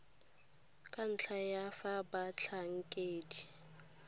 ka ntlha ya fa batlhankedi